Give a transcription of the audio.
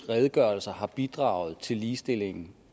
redegørelser har bidraget til ligestillingen